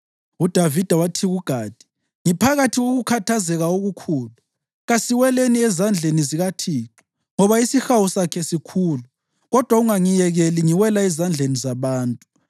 UDavida wathi kuGadi, “Ngiphakathi kokukhathazeka okukhulu. Kasiweleni ezandleni zikaThixo, ngoba isihawu sakhe sikhulu, kodwa ungangiyekeli ngiwela ezandleni zabantu.”